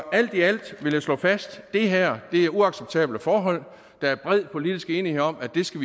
alt i alt vil jeg slå fast at det her er uacceptable forhold der er bred politisk enighed om at vi skal